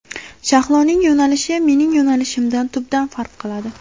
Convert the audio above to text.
Shahloning yo‘nalishi mening yo‘nalishimdan tubdan farq qiladi.